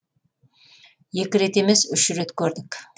екі рет емес үш рет көрдік